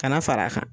Ka na fara a kan